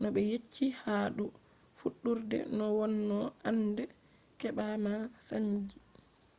no be yecchi haa dou fuddurde noo wonno annde kebaa ma saanji